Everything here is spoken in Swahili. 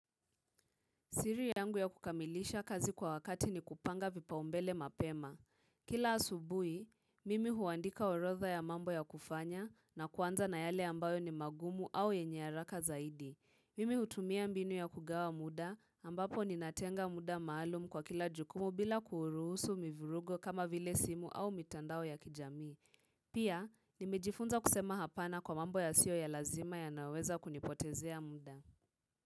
Siri yangu ya kukamilisha kazi kwa wakati ni kupanga vipau mbele mapema. Kila asubuhi, mimi huandika orotha ya mambo ya kufanya na kuanza na yale ambayo ni magumu au yenye haraka zaidi. Mimi hutumia mbinu ya kugawa muda ambapo ninatenga muda maalum kwa kila jukumu bila kuuruhusu mivirugo kama vile simu au mitandao ya kijami. Pia, nimejifunza kusema hapana kwa mambo ya sio ya lazima yanaweza kunipotezea muda.